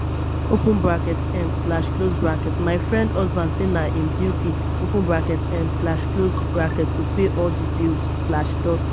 um my friend husband say na im duty um to pay all di bills.